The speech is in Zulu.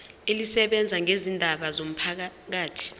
elisebenza ngezindaba zomphakathi